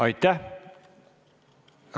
Aitäh!